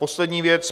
Poslední věc.